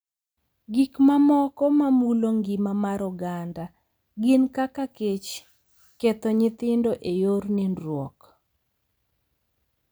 Gik mamoko ma mulo ngima mar oganda gin kaka kech, ketho nyithindo e yor nindruok,